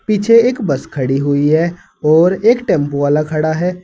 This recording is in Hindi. पीछे एक बस खड़ी हुई है और एक टेंपो वाला खड़ा है।